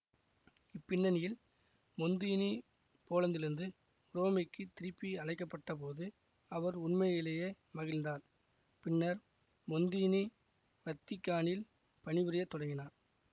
பின்னணியில் மொந்தீனி போலந்திலிருந்து உரோமைக்குத் திருப்பி அழைக்கப்பட்டபோது அவர் உண்மையிலேயே மகிழ்ந்தார் பின்னர் மொந்தீனி வத்திக்கானில் பணி புரிய தொடங்கினார்